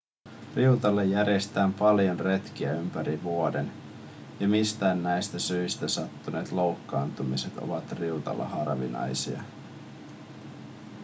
riutalle järjestetään paljon retkiä ympäri vuoden ja mistään näistä syistä sattuneet loukkaantumiset ovat riutalla harvinaisia